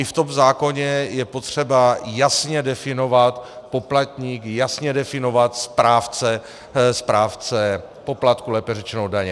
I v tom zákoně je potřeba jasně definovat poplatníka, jasně definovat správce poplatku, lépe řečeno daně.